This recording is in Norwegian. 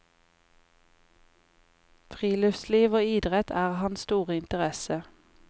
Friluftsliv og idrett er hans store interesse.